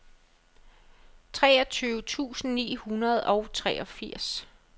treogtyve tusind ni hundrede og treogfirs